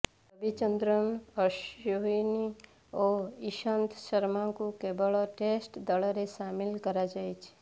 ରବିଚନ୍ଦ୍ରନ ଅଶ୍ୱିନ୍ ଓ ଈଶାନ୍ତ ଶର୍ମାଙ୍କୁ କେବଳ ଟେଷ୍ଟ ଦଳରେ ସାମିଲ କରାଯାଇଛି